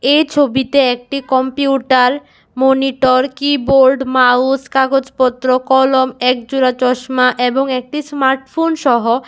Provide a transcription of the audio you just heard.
এই ছবিতে একটি কম্পিউটাল মনিটর কিবোর্ড মাউস কাগজপত্র কলম এক জোড়া চশমা এবং একটি স্মার্টফোন সহ।